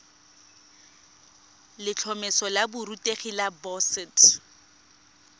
letlhomeso la borutegi la boset